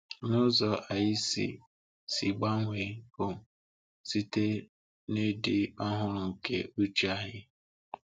Na ụzọ anyị si si gbanwee bụ site n’ịdị ọhụrụ nke uche anyị.